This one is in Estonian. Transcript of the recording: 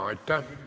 Aitäh!